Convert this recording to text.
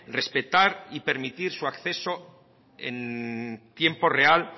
respetar y permitir su acceso en tiempo real